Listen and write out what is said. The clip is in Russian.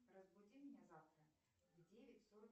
разбуди меня завтра в девять сорок